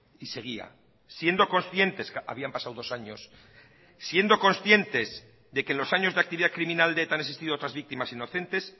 y seguía siendo conscientes habían pasado dos años siendo conscientes de que los años de actividad criminal de eta han existido otras víctimas inocentes